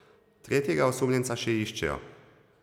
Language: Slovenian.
Tretjega osumljenca še iščejo.